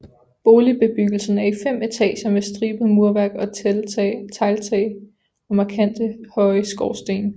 Boligbebyggelsen er i fem etager med stribet murværk og tegltage og markante høje skorstene